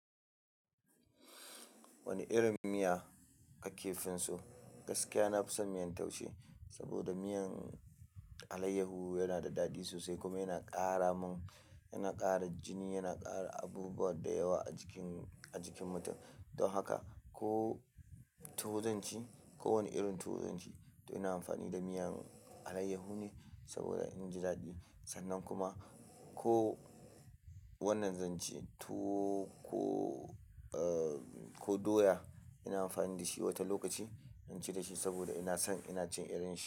Wani irin miya kake finso? Gaskiya na fi son miyan taushe saboda miyan alayyahu yana da daɗi sosai kuma yana ƙara mun, yana ƙara jini, yana ƙara abubuwa da yawa a jikin, a jikin mutum. Don haka ko tuwo zanci ko wani irin tuwo zanci to ina amfani da miyan alayyahu ne saboda inji daɗi. Sannan kuma ko wannan zanci tuwo ko, uh, ko doya ina amfani da shi wata lokaci, inci da shi saboda ina son ina cin irin shi.